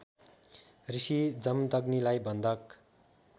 ऋषी जमदग्नीलाई बन्धक